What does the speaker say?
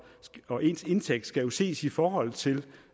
og ens indtægt skal jo ses i forhold til